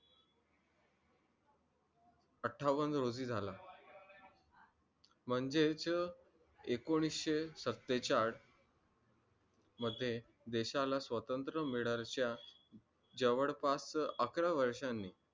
अठ्ठावन्न रोजी झाला म्हणजेच एकोणीशे सत्तेचाळीस मध्ये देशाला स्वातंत्र्य मिळायच्या जवळपास अकरा वर्षांनी